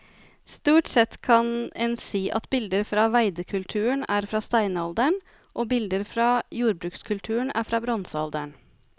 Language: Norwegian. Stort sett kan en si at bilder fra veidekulturen er fra steinalderen og bilder fra jordbrukskulturen er fra bronsealderen.